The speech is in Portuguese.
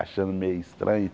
achando meio estranho.